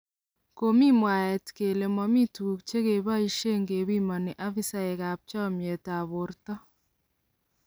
Komii mwaaet kole momi tuguk chekeboisien kepimonen aafisaek ab chomiet ab borto.